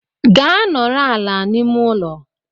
Gaa nọrọ ala n'ime ụlọ!